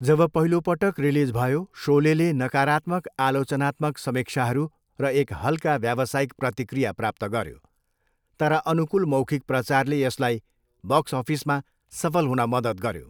जब पहिलोपटक रिलिज भयो, सोलेले नकारात्मक आलोचनात्मक समीक्षाहरू र एक हल्का व्यावसायिक प्रतिक्रिया प्राप्त गऱ्यो, तर अनुकूल मौखिक प्रचारले यसलाई बक्स अफिसमा सफल हुन मद्दत गर्यो।